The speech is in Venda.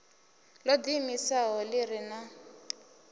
ḓo ḓiimisaho ḓi re na